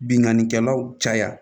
Bingannikɛlaw caya